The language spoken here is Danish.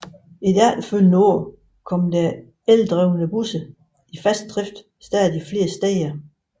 I de efterfølgende år kom der så eldrevne busser i fast drift stadig flere steder